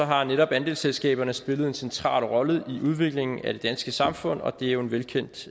har netop andelsselskaberne spillet en central rolle i udviklingen af det danske samfund og det er jo en velkendt